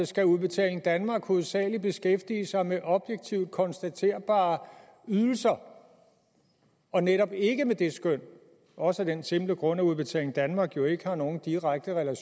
skal udbetaling danmark hovedsagelig beskæftige sig med objektivt konstaterbare ydelser og netop ikke med det skøn også af den simple grund at udbetaling danmark jo ikke har noget direkte